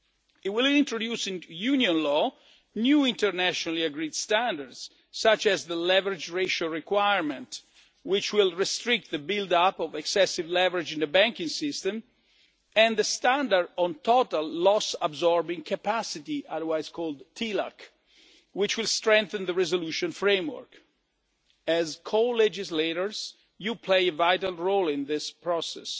It will introduce into Union law new internationally agreed standards, such as the leverage ratio requirement, which will restrict the build up of excessive leverage in the banking system, and the standard on total loss absorbing capacity, otherwise known as TLAC, which will strengthen the resolution framework. As co legislators, you play a vital role in this